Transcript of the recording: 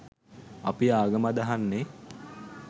අපි ආගම අදහන්නේ